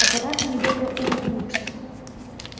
аппарат недобро улыбнулся